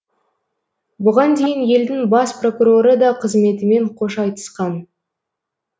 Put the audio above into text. бұған дейін елдің бас прокуроры да қызметімен қош айтысқан